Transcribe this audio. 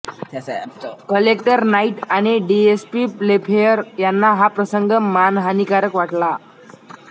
collector Knight आणि DSP Playfair यांना हा प्रसंग मानहानीकारक वाटला